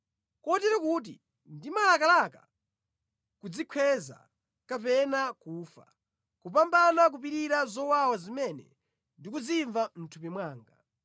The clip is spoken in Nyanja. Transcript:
kotero kuti ndimalakalaka kudzikhweza kapena kufa, kupambana kupirira zowawa zimene ndikuzimva mʼthupi mwanga.